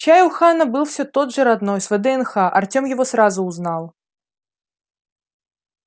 чай у хана был всё тот же родной с вднх артём его сразу узнал